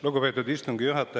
Lugupeetud istungi juhataja!